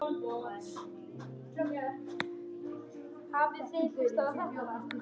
Jafnvel í stórum hópum?